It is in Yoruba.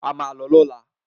A máà lọ ní ọ̀lá.